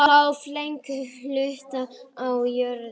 Það gengur ekki!